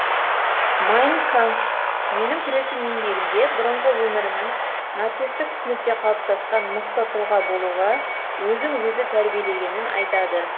майн кампф менің күресім еңбегінде бұрынғы өмірінің нацистік түсінікте қалыптасқан мықты тұлға болуға өзін өзі тәрбиелегенін айтады